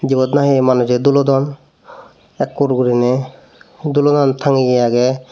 yot nahi manujey dulodon ekkur guriney dulonan tangeye agey.